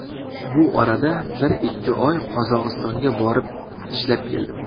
Bu orada bir-ikki oy Qozog‘istonga borib ishlab keldim.